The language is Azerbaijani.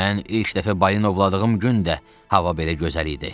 Mən ilk dəfə balina ovladığım gün də hava belə gözəl idi.